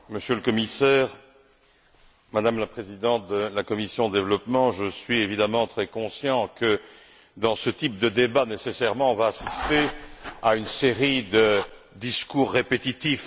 Monsieur le Président, Monsieur le Commissaire, Madame la Présidente de la commission du développement, je suis évidemment très conscient que, dans ce type de débat, on va nécessairement assister à une série de discours répétitifs.